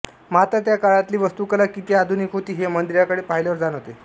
मात्र त्या काळातली वास्तू कला किती आधुनिक होती हे मंदिराकडे पाहिल्यावर जाणवते